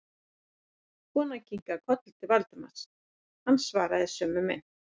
Konan kinkaði kolli til Valdimars, hann svaraði í sömu mynt.